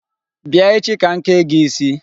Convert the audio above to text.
Bịa echi ka m kee gị isi.